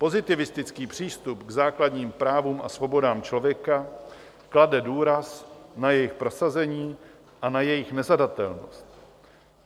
Pozitivistický přístup k základním právům a svobodám člověka klade důraz na jejich prosazení a na jejich nezadatelnost.